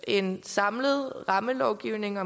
en samlet rammelovgivning